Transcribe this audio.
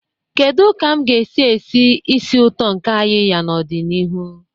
Kedu ka m ga-esi esi ísì ụtọ nke ayiya n'ọdịnihu?